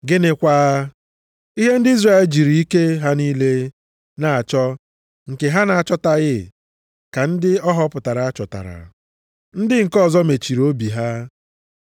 Gịnịkwa? Ihe ndị Izrel jiri ike ha niile na-achọ nke ha na-achọtaghị ka ndị a họpụtara chọtara. Ndị nke ọzọ mechiri obi ha.